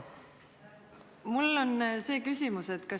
Palun!